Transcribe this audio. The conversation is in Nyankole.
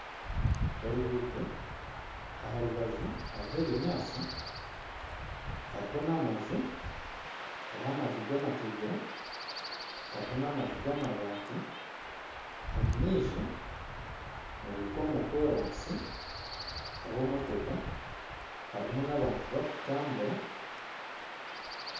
Oruguuto aha rubaju hariho ebinyaatsi, hariho n'amaju, hariho amaju g'amategura, hariho n'amaju g'amabaati. Omu maisho ni ruhika omu koraasi harimu emotoka harimu n'abantu abarikutambura